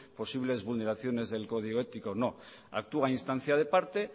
posibles vulneraciones del código ético actúa en instancia de parte